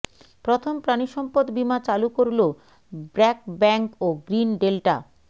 প্রথম প্রাণিসম্পদ বীমা চালু করল ব্র্যাক ব্যাংক ও গ্রীন ডেল্টা